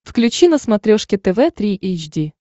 включи на смотрешке тв три эйч ди